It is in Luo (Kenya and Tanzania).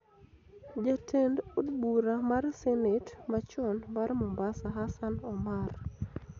Jatend od bura mar senet machon mar Mombasa, Hassan Omar